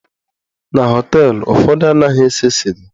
Na họteelụ ụfọdụ, anaghị ese sịga.